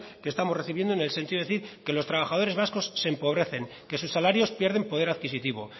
que estamos recibiendo en el sentido de decir que los trabajadores vascos se empobrecen que sus salarios pierden poder adquisitivo